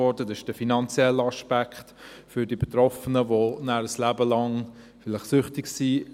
Das ist der finanzielle Aspekt für die Betroffenen, die nachher vielleicht ein Leben lang süchtig sind.